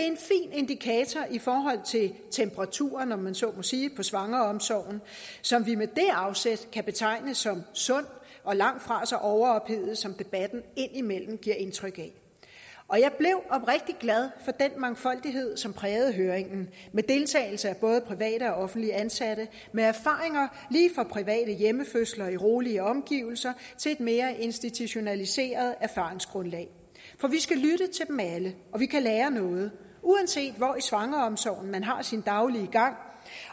indikator i forhold til temperaturen om man så må sige på svangreomsorgen som vi med det afsæt kan betegne som sund og langtfra så overophedet som debatten indimellem giver indtryk af og jeg blev oprigtig glad for den mangfoldighed som prægede høringen med deltagelse af både private og offentligt ansatte med erfaringer lige fra private hjemmefødsler i rolige omgivelser til et mere institutionaliseret erfaringsgrundlag for vi skal lytte til dem alle og vi kan lære noget uanset hvor i svangreomsorgen man har sin daglige gang